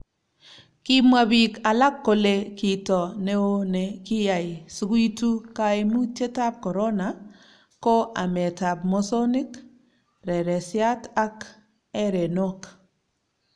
Kimwa biik alak kole kito neoo ne kiyai sikuitu kaimutietab korona ko ametab mosonik, reresiat ak erenok